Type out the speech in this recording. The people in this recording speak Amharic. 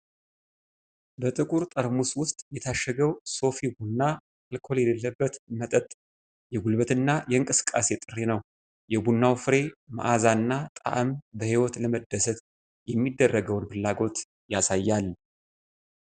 በጥቁር ጠርሙስ ውስጥ የታሸገው ሶፊ ቡና አልኮል የሌለበት መጠጥ የጉልበትና የእንቅስቃሴ ጥሪ ነው። የቡናው ፍሬ መዓዛና ጣዕም በህይወት ለመደሰት የሚደረገውን ፍላጎት ያሳያል።